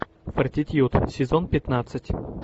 фортитьюд сезон пятнадцать